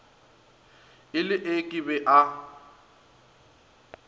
e le ee ke ba